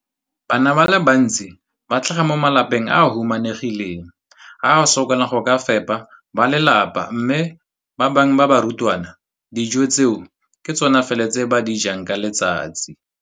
Bana ba le bantsi ba tlhaga mo malapeng a a humanegileng a a sokolang go ka fepa ba lelapa mme ba bangwe ba barutwana, dijo tseo ke tsona fela tse ba di jang ka letsatsi.